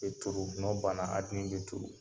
E turu gn'ɔ banna be turu.